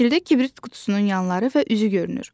Şəkildə kibrit qutusunun yanları və üzü görünür.